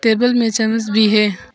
Table में चम्मच भी है।